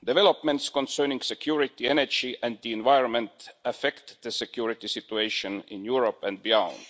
Developments concerning security, energy and the environment affect the security situation in Europe and beyond.